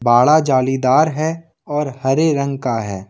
बाड़ा जालीदार है और हरे रंग का है।